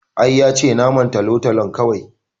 I, yace naman tolotolon kawai